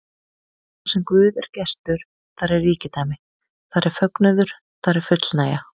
Þarsem Guð er gestur, þar er ríkidæmi, þar er fögnuður, þar er fullnægja.